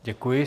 Děkuji.